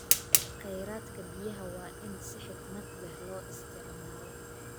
Kheyraadka biyaha waa in si xikmad leh loo isticmaalo.